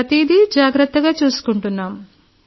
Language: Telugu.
ప్రతిదీ జాగ్రత్తగా చూసుకుంటున్నాం